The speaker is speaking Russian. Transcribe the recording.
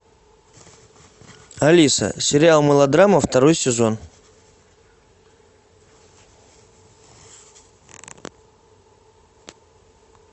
алиса сериал мылодрама второй сезон